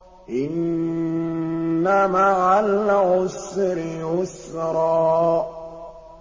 إِنَّ مَعَ الْعُسْرِ يُسْرًا